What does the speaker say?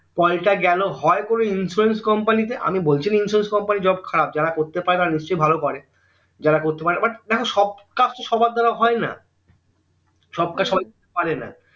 call টা গেলো হয় কোনো insurance company এ আমি বলছিনা insurance company job খারাব যারা করতে পায় তারা নিশ্চই ভালো করে যারা করতে পায় but দেখো সব কাজ তো সবার দ্বারা হয়না তো সবার দ্বারা হয়না পারে না